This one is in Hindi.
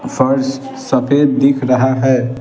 फर्श सफेद दिख रहा है ।